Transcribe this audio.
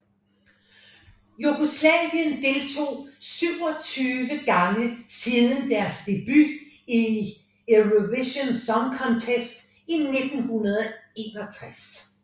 Jugoslavien deltog 27 gange siden deres debut i Eurovision Song Contest i 1961